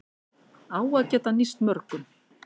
Á að geta nýst mörgum